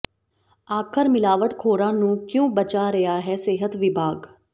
ਆਖ਼ਰ ਮਿਲਾਵਟ ਖ਼ੋਰਾਂ ਨੂੰ ਕਿਉਂ ਬਚਾ ਰਿਹਾ ਹੈ ਸਿਹਤ ਵਿਭਾਗ